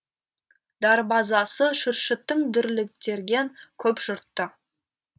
дарбазасы шүршіттің дүрлектірген көп жұртты